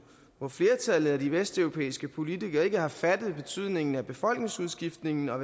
hvor flertallet af de vesteuropæiske politikere ikke har fattet betydningen af befolkningsudskiftningen og